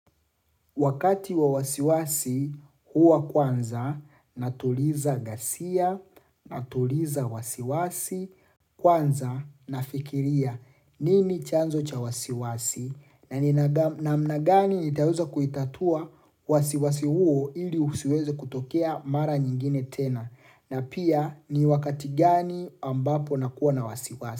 Wakati wa wasiwasi huwa kwanza na tuliza ghasia na tuliza wasiwasi kwanza nafikiria nini chanzo cha wasiwasi namna gani nitaweza kuitatua wasiwasi huo ili usiweze kutokea mara nyingine tena na pia ni wakati gani ambapo nakuwa na wasiwasi.